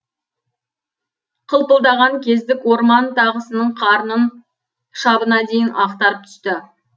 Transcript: қылпылдаған кездік орман тағысының қарнын шабына дейін ақтарып түсті